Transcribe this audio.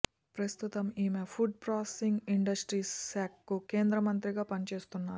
ప్రస్తుతం ఈమె food processing industries శాఖకు కేంద్ర మంత్రిగా పనిచేస్తున్నారు